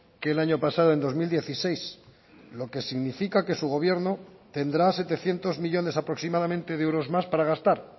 que el año pasado en dos mil dieciséis lo que significa que su gobierno tendrá setecientos millónes aproximadamente de euros más para gastar